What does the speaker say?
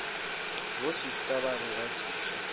bosista ba be ba diša